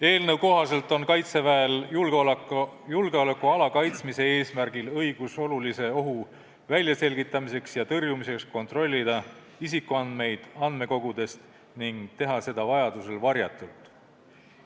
Eelnõu kohaselt on Kaitseväel julgeolekuala kaitsmise eesmärgil õigus olulise ohu väljaselgitamiseks ja tõrjumiseks kontrollida isikuandmeid andmekogudest ning teha seda vajaduse korral varjatult.